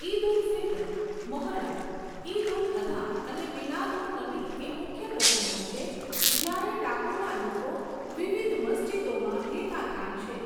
ઈદ ઉલ ફિત્ર, મોહર્રમ, ઈદ ઉલ અધા અને મિલાદ ઉન નબી એ મુખ્ય પ્રસંગો છે જ્યારે ટાપુના લોકો વિવિધ મસ્જિદોમાં ભેગા થાય છે.